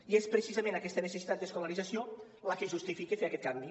i és precisament aquesta necessitat d’escolarització la que justifica fer aquest canvi